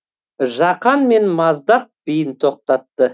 жақан мен маздақ биін тоқтатты